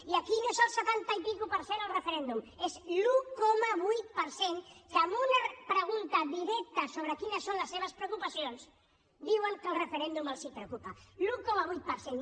i aquí no és el setanta per cent i escaig el referèndum és l’un coma vuit per cent que en una pregunta directa sobre quines són les seves preocupacions diuen que el referèndum els preocupa l’un coma vuit per cent